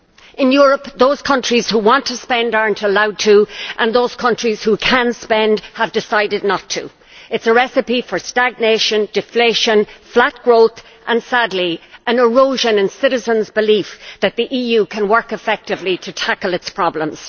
In Europe, those countries who want to spend are not allowed to and those countries who can spend have decided not to. It is a recipe for stagnation, deflation, flat growth and, sadly, for an erosion in citizens' belief that the EU can work effectively to tackle its problems.